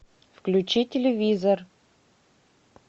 включи телевизор